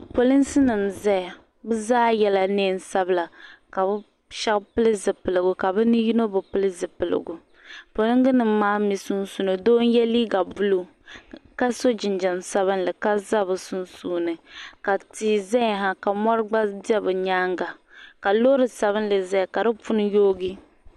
Polinsi nim n zaya bi zaa yɛla niɛn sabila ka bi shɛba pili zipiligu ka bi ni yino bi pili zipiligu polinga nim maa mi sunsuuni doo n yɛ liiga buluu ka so jinjam sabinli ka za bi sunsuuni ka tia zaya ha ka mɔri gba bɛ bi nyaanga ka loori sabinli zaya ka di puni yoogi.